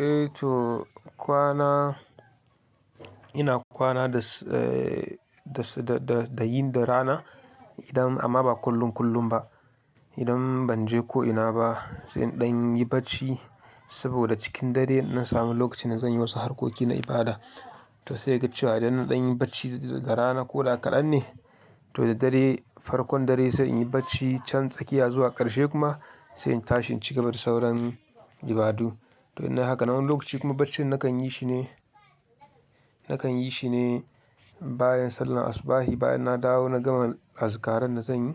Eh to kwana, ina kwana da, da, da, da yin da rana idan amma ba kullum kullum ba. Idan ban je ko'ina ba, sai in ɗan yi bacci saboda cikin dare na dan sami lokaci na zan yi wasu harkoki na ibada. To sai kaga cewa idan ɗan yi bacci da rana ko da kaɗan ne, to da dare farkon dare sai in yi bacci can tsakiya zuwa ƙarshe kuma sai in tashin cigaba da sauran ibadu. To in nayi hakanan wani lokaci kuma baccin na kan yi shi ne, na kan yi shi ne bayan sallar asubahi bayan na dawo na gama azikaran da zan yi,